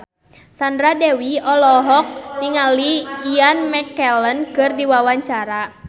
Sandra Dewi olohok ningali Ian McKellen keur diwawancara